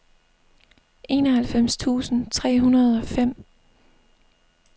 enoghalvfems tusind tre hundrede og fem